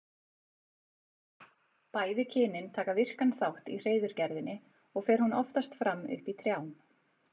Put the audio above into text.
Bæði kynin taka virkan þátt í hreiðurgerðinni og fer hún oftast fram uppi í trjám.